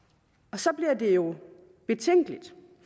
så bliver det jo betænkeligt